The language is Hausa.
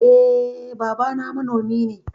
Eh babana manomi ne.